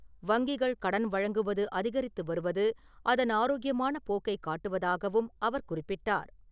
வங்கிகள் கடன் வழங்குவது அதிகரித்து வருவது அதன் ஆரோக்கியமான போக்கை காட்டுவதாகவும் அவர் குறிப்பிட்டார்.